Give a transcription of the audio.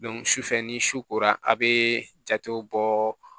sufɛ ni su kora a bɛ jatew bɔ